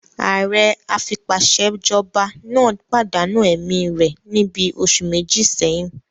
Ààrẹ afipásèjọba náà pàdánù ẹ̀mí rẹ̀ níbi oṣù méjì sẹ́yìn